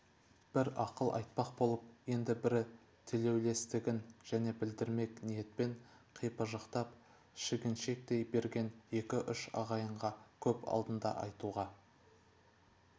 бір ақыл айтпақ болып енді бірі тілеулестігін жеке білдірмек ниетпен қипыжықтап шегіншектей берген екі-үш ағайынға көп алдында айтуға